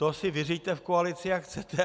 To si vyřiďte v koalici, jak chcete.